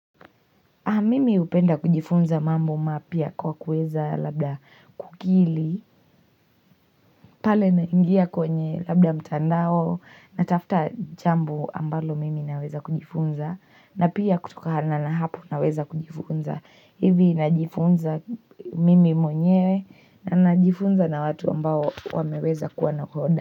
Mimi hupenda kujifunza mambo mapya kwa kuweza labda kukili pale nakiingia kwenye labda mtandao natafta jambo ambalo mimi naweza kujifunza na pia kutukana na hapo naweza kujifunza hivi najifunza mimi mwenyewe na najifunza na watu ambao wameweza kuwa nahoda.